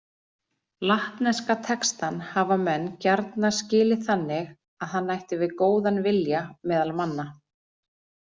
Latneska textann hafa menn gjarna skilið þannig að hann ætti við góðan vilja meðal manna.